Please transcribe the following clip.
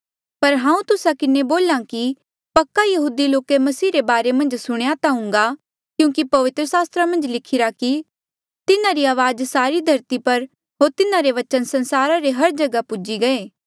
पर हांऊँ तुस्सा किन्हें बोला कि पक्का यहूदी लोके मसीह रे बारे मन्झ सुणेया ता हूँगा क्यूंकि पवित्र सास्त्रा मन्झ लिखिरा कि तिन्हारी अवाज सारी धरती पर होर तिन्हारे बचन संसारा रे हर जगहा पूजी गये